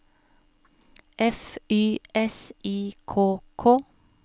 F Y S I K K